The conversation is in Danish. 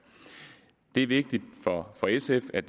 det er vigtigt for sf at